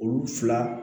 Olu fila